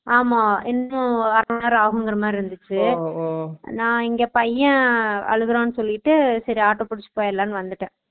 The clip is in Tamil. ஆமா இன்னும் அறைமன்நேரம் ஆகும்ங்கற மாறி இருந்துச்சு Noise நா இங்க பையன் அழுகறான் சொல்லிட்டு சேரி ஆட்டோ புடிச்சு போயிறலாம்ண்டு வந்துடன்